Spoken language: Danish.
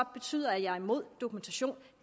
betyde at jeg er imod dokumentation